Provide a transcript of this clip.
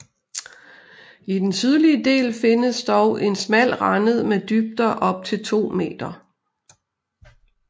I den sydlige del findes dog en smal rende med dybder op til 2 m